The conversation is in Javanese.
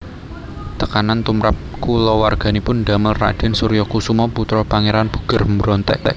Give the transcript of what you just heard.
Tekanan tumrap kulawarganipun damel Raden Suryokusumo putra Pangeran Puger mbrontak